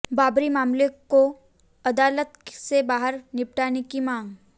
बाबरी मामले को अदालत से बाहर निपटाने की मांग